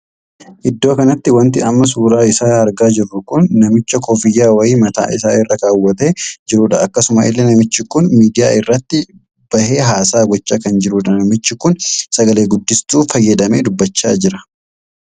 Iddoo kanatti wanti amma suuraa isaa argaa jirru kun namicha koffiyyaa wayii mataa isaa irra kaawwatee jirudha. akkasuma illee namichi kun miidiyaa irratti bahe haasaa gochaa kan jirudha. namichi kun sagalee guddistuu fayyadamee dubbachaa jira.